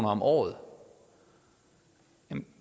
om året er